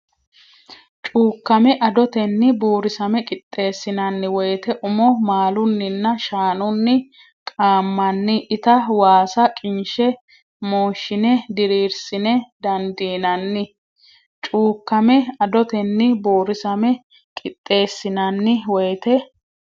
Cuukkame adotenni Buurisame qixxeessinanni woyte umo maalunninna shaanunni qaammanni ita waasa qinshe mooshshine diriirsine dandiinanni Cuukkame adotenni Buurisame qixxeessinanni woyte.